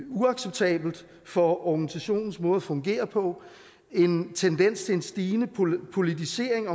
uacceptabelt for organisationens måde at fungere på en tendens til en stigende politisering